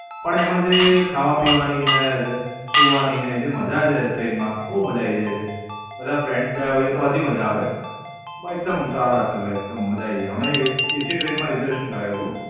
પણ એમાં જે ખાવા પીવાની ને રહે સુવાની ને જે મજા છે ટ્રેન માં બોવ મજા આવી જાય છે. બધા Friends ગયા હોઈએ તો હજી મજા આવે. બ એકદમ સારા ચાલે એકદમ મજા આયી જાય. અમે એસ એસી ટ્રેન માં Reservation કરાવ્યું તું.